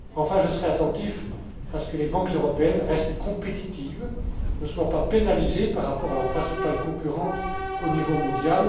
Enfin, je serai attentif à ce que les banques européennes restent compétitives et ne soient pas pénalisées par rapport à leurs principales concurrentes au niveau mondial.